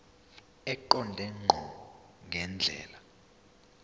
eqonde ngqo ngendlela